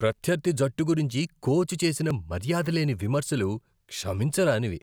ప్రత్యర్థి జట్టు గురించి కోచ్ చేసిన మర్యాదలేని విమర్శలు క్షమించరానివి.